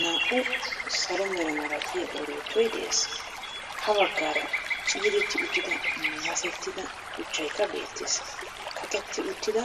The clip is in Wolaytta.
Naa"u salo mera malatiya orottoy de'ees, ha baggaara ciiretti uttida masettida shuchchaykka beettees. Kaqqetti uttida